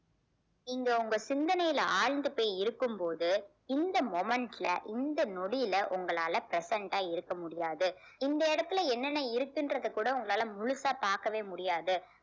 நீங்க உங்க சிந்தனையில ஆழ்ந்து போய் இருக்கும்போது இந்த moment ல இந்த நொடியில உங்களால present ஆ இருக்க முடியாது இந்த இடத்துல என்னென்ன இருக்குன்றத கூட உங்களால முழுசா பார்க்கவே முடியாது